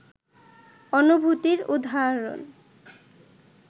অনুভূতির উদাহরণ